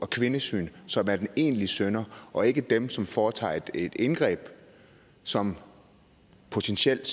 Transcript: kvindesyn som er den egentlige synder og ikke dem som foretager et indgreb som potentielt